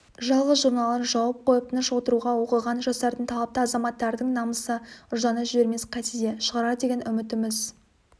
жалғыз журналын жауып қойып тыныш отыруға оқыған жастардың талапты азаматтардың намысы ұжданы жібермес қайтсе де шығарар деген үмітіміз